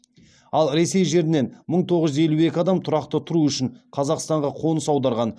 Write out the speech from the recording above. ал ресей жерінен мың тоғыз жүз елу екі адам тұрақты тұру үшін қазақстанға қоныс аударған